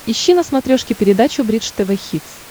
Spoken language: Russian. ищи на смотрешке передачу бридж тв хитс